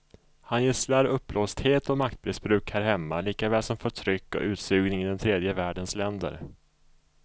Han gisslar uppblåsthet och maktmissbruk här hemma likaväl som förtryck och utsugning i den tredje världens länder.